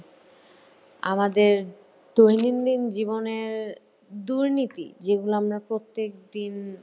আমাদের দৈনন্দিন জীবনের দুর্নীতি যেগুলো আমরা প্রত্যেকদিন